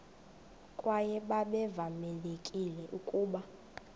kwaye babevamelekile ukuba